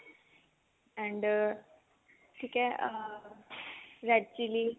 and ਠੀਕ ਆ ਅਹ red chilli